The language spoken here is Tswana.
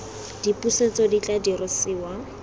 le dipusetso di tla dirisiwa